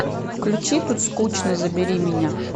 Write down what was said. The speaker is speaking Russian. включи тут скучно забери меня